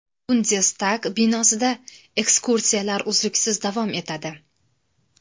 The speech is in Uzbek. Bundestag binosida ekskursiyalar uzluksiz davom etadi.